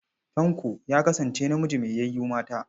Tanko ya kasance namiji mai yayu mata.